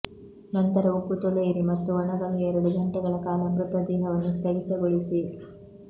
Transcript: ನಂತರ ಉಪ್ಪು ತೊಳೆಯಿರಿ ಮತ್ತು ಒಣಗಲು ಎರಡು ಗಂಟೆಗಳ ಕಾಲ ಮೃತ ದೇಹವನ್ನು ಸ್ಥಗಿತಗೊಳಿಸಿ